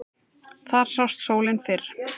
Þar sást sólin fyrr.